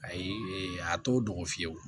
Ayi a t'o dogo fiyewu